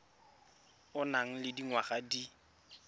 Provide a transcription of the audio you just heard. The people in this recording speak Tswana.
o nang le dingwaga di